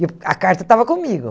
E o a carta estava comigo.